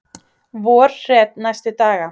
Vorhret næstu daga